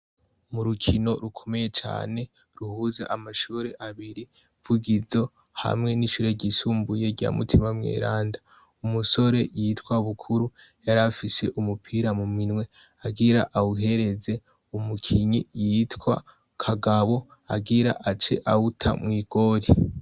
mu rukino rukomeye cyane ruhuze amashuri abiri vugizo hamwe n'ishure ryisumbuye rya mutima mweranda umusore yitwa bukuru yari afise umupira mu minwe agira awuhereze umukinyi yitwa kagabo agira ace awuta mwigori